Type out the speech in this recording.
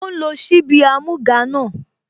Ó ń lo ṣíbí amúga náà